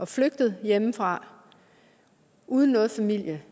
flygtet hjemmefra uden noget familie